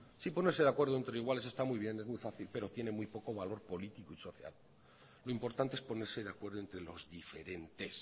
si ponerse de acuerdo entre iguales está muy bien es muy fácil pero tiene muy poco valor político y social lo importante es ponerse de acuerdo entre los diferentes